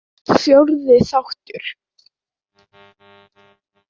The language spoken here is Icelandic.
Fjórði þáttur